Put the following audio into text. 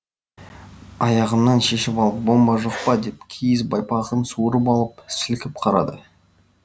аяғымнан шешіп алып бомба жоқ па деп киіз байпағын суырып алып сілкіп қарады